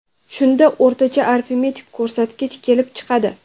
Shunda o‘rtacha arifmetik ko‘rsatgich kelib chiqadi.